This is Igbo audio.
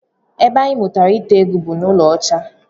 Ebe anyị mụtara ite egwu bụ n'ụka ọcha